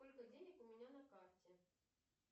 сколько денег у меня на карте